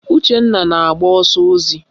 Uchenna na-agba ọsọ ozi